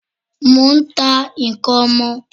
Mò n ta n'kan ọmọ